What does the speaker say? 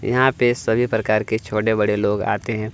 यहाँ पे सभी प्रकार के छोटे-बड़े लोग आते है।